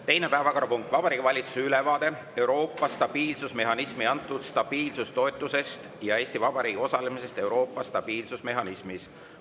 Teine päevakorrapunkt on Vabariigi Valitsuse ülevaade Euroopa stabiilsusmehhanismi antud stabiilsustoetusest ja Eesti Vabariigi osalemisest Euroopa stabiilsusmehhanismis.